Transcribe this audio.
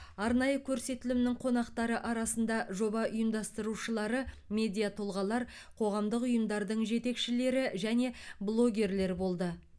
арнайы көрсетілімнің қонақтары арасында жоба ұйымдастырушылары медиа тұлғалар қоғамдық ұйымдардың жетекшілері және блогерлер болды